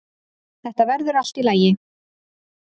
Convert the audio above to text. Þetta verður allt í lagi.